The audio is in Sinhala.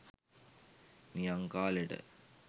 නියං කාලෙට